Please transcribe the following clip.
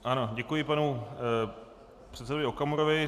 Ano, děkuji panu předsedovi Okamurovi.